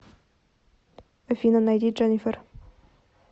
афина найди дженифер